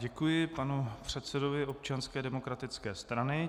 Děkuji panu předsedovi Občanské demokratické strany.